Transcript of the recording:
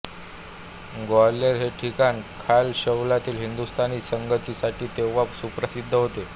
ग्वाल्हेर हे ठिकाण ख्याल शैलीतील हिंदुस्तानी संगीतासाठी तेव्हा सुप्रसिद्ध होते